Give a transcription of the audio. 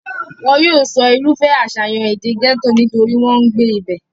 wọn yóò sọ irúfẹ́ àṣàyàn èdè gẹ́tò nítorí wọ́n ń gbé ibẹ̀